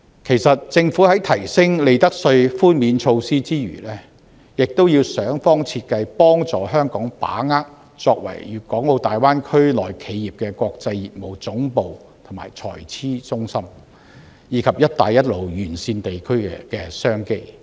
其實政府除提升利得稅寬免措施外，也要想方設法協助香港把握作為粵港澳大灣區內企業的國際業務總部和財資中心，以及"一帶一路"沿線地區的商機。